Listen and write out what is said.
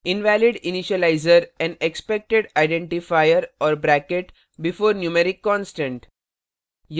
invalid initializer and expected identifier or bracket before numeric constant